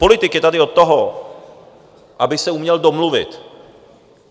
Politik je tady od toho, aby se uměl domluvit.